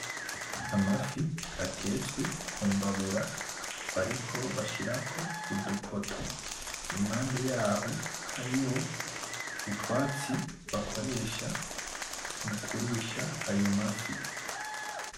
Amafi atetswe ku mbabura, bariko bashirako udukoto impande yaho hariho utwatsi bakoresha mukurisha ayo mafi.